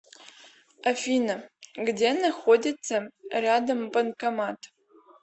афина где находится рядом банкомат